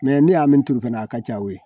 ne y'a min turu fɛnɛ a ka ca o ye.